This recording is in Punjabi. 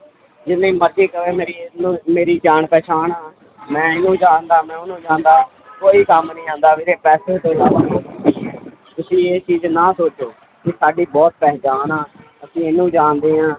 ਜਿੰਨੀ ਮਰਜ਼ੀ ਕਵੇ ਮੇਰੀ ਮੇਰੀ ਜਾਣ ਪਹਿਚਾਣ ਆ ਮੈਂ ਇਹਨੂੰ ਜਾਣਦਾ ਮੈਂ ਉਹਨੂੰ ਜਾਣਦਾ ਕੋਈ ਕੰਮ ਨੀ ਆਉਂਦਾ ਵੀਰੇ ਪੈਸੇ ਤੋਂ ਇਲਾਵਾ ਤੁਸੀਂ ਇਹ ਚੀਜ਼ ਨਾ ਸੋਚੋ ਕਿ ਸਾਡੀ ਬਹੁਤ ਪਹਿਚਾਣ ਆਂ ਅਸੀਂ ਇਹਨੂੰ ਜਾਣਦੇ ਹਾਂ